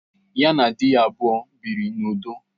Ya na di ya abụọ biri n'udo